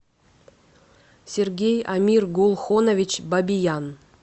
сергей амиргулхонович бабиян